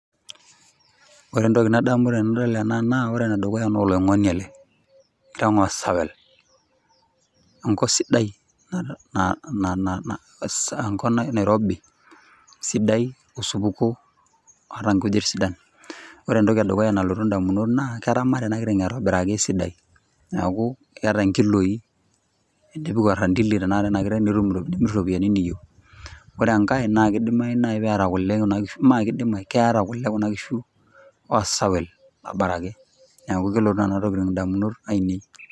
Ore entoki nadamu tenadol ena naa ore ena naa oloingoni ele, enkiteng osawel , enkop sidai , enkop nairobi sidai ,osupuko ,oota nkujit sidan , ore entoki nalotu ndamunot naa keramata enakiteng esidai niaku keeta nkiloi, tenipik orandili enakiteng , nitum iropiyiani niyieu , ore enkae naa keeta kule kuna kishu osawel aboraki niaku kelotu nena tokitin indamunot ainei.